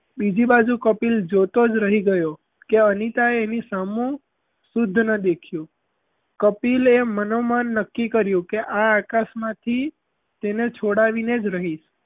બીજી બાજું કપિલ જોતો જ રહી ગયો કે અનિતાએ એની સામું સુદ્ધ ના દેખ્યું કપિલ એ મનોમન નક્કી કર્યું કે આ આકાશમાંથી તેને છોડાવીને જ રહીશ.